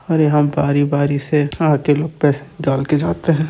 और यहाँ बारी बारी से आके लोग पैसे निकाल के जाते है।